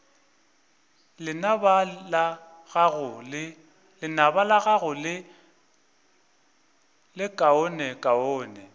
lenaba la gago le lekaonekaone